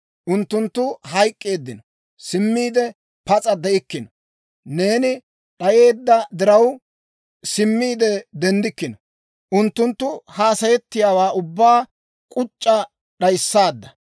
Unttunttu hayk'k'eeddino; simmiide pas'a de'ikkino. Neeni d'ayisseedda diraw, simmiide denddikkino. Unttunttu hassayettiyaawaa ubbaa k'uc'c'a d'ayissaadda.